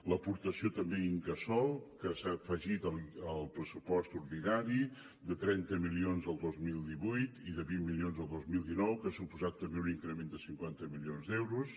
l’aportació també d’incasòl que s’ha afegit al pressupost ordinari de trenta milions el dos mil divuit i de vint milions del dos mil dinou que ha suposat també un increment de cinquanta milions d’euros